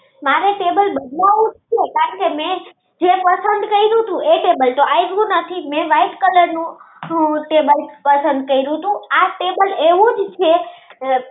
મારે table બદલાવું જ છે કાને મેં જે ટેબલ પસંદ કીધું વો અવેલુંજ નથી મેં white color નું ટેબલ પસંદ કર્યું તું આ table એવુજ છે